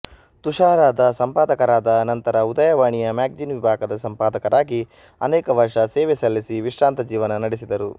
ತುಷಾರದ ಸಂಪಾದಕರಾದ ನಂತರ ಉದಯವಾಣಿಯ ಮ್ಯಾಗಜಿನ್ ವಿಭಾಗದ ಸಂಪಾದಕರಾಗಿ ಅನೇಕ ವರ್ಷ ಸೇವೆ ಸಲ್ಲಿಸಿ ವಿಶ್ರಾಂತ ಜೀವನ ನಡೆಸಿದರು